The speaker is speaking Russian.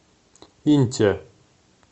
инте